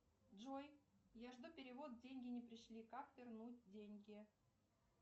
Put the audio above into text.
джой я жду перевод деньги не пришли как вернуть деньги